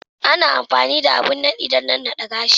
Ana amfani da abin nadi dan nanna de gashi.